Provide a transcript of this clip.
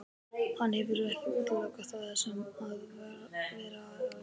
Hann hefur ekki útilokað það að vera áfram í Bandaríkjunum.